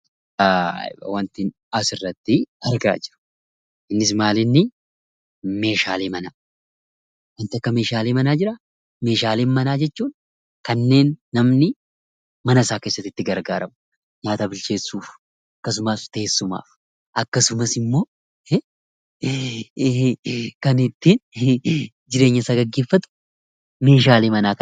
Waanti asirratti argaa jirru, innis maalinnii, Meeshaalee manaa. Waanti akka Meeshaalee manaa jiraa? Meeshaalee manaa jechuun kanneen namni mana isaa keessatti itti gargaaramu, nyaata bilcheessuuf akkasumas teessuma, akkasumas immoo kan ittiin jireenya isaa gaggeeffatu Meeshaalee manaa kana.